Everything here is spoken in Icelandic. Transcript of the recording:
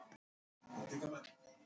Niðri við vatn?